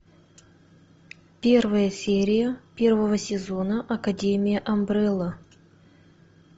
первая серия первого сезона академия амбрелла